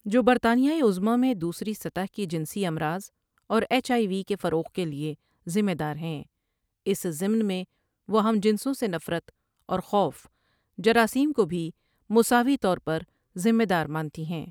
جو برطانیۂ عظمٰی میں دوسری سطح کی جنسی امراض اور ایچ آئی وی کے فروغ کے لیے ذمے دار ہیں اس ضمن میں وہ ہم جنسوں سے نفرت اور خوف جراثیم کو بھی مساوی طور پر ذمے دار مانتی ہیں